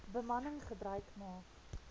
bemanning gebruik maak